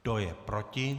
Kdo je proti?